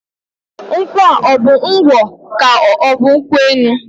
Nkwụa ọbụ ngwọ k'ọbụ nkwụ enu?